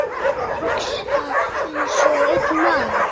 Hugsa einsog einn maður.